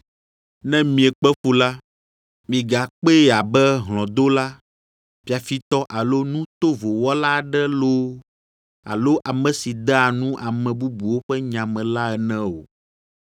Ne miekpe fu la, migakpee abe hlɔ̃dola, fiafitɔ alo nu tovo wɔla aɖe loo, alo ame si dea nu ame bubuwo ƒe nya me la ene o.